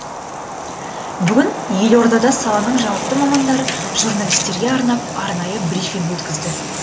бүгін елордада саланың жауапты мамандары журналистерге арнап арнайы брифинг өткізді